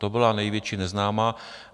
To byla největší neznámá.